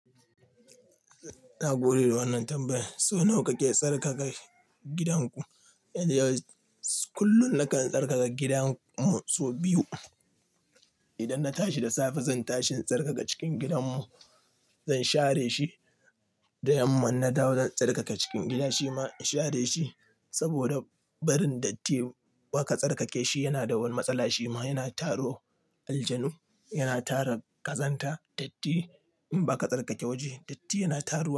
Na gode da wannan tambayar. So nawa kake tsarkaka gidanku? Yanzu kullum nakan tsarkaka gidanmu sau biyu. Idan na tashi da safe zan tashi in tsarkaka cikin gidanmu, zan share shi da yamma na dawo zan tsarkaka cikin gida shima in share shi. Saboda barin datti ba ka tsarkake shi yana da wani matsala shima yana taro. Aljanu yana tara kazanta datti in ba ka tsarkake waje datti yana taruwa.